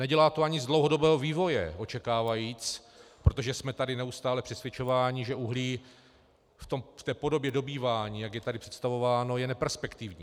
Nedělá to ani z dlouhodobého vývoje, očekávaje, protože jsme tady neustále přesvědčováni, že uhlí v té podobě dobývání, jak je tady představováno, je neperspektivní.